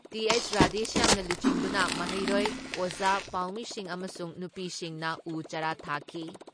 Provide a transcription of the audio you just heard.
T.H. ꯔꯥꯙꯦꯁ꯭ꯌꯥꯝꯅ ꯂꯨꯆꯤꯡꯗꯨꯅ ꯃꯍꯩꯔꯣꯏ, ꯑꯣꯖꯥ, ꯄꯥꯎꯃꯤꯁꯤꯡ ꯑꯃꯁꯨꯡ ꯅꯨꯄꯤꯁꯤꯡꯅ ꯎ ꯆꯥꯔꯥ ꯊꯥꯈꯤ ꯫